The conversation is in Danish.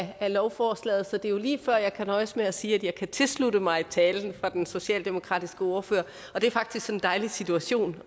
af lovforslaget så det er lige før at jeg kan nøjes med at sige at jeg kan tilslutte mig talen fra den socialdemokratiske ordfører det er faktisk en dejlig situation